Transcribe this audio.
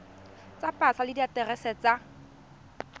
tsa pasa le diaterese tsa